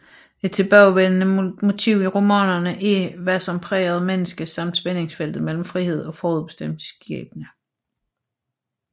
Et tilbagevendende motiv i romanerne er hvad som præger et menneske samt spændingsfeltet mellem frihed og forudbestemt skæbne